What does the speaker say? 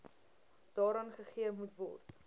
daaraan gegee moetword